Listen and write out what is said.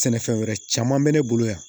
Sɛnɛfɛn wɛrɛ caman bɛ ne bolo yan